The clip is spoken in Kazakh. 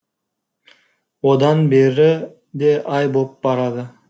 одан бері де ай боп барады